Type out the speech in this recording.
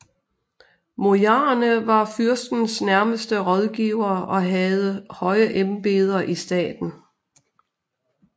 Bojarerne var fyrstens nærmeste rådgivere og havde høje embeder i staten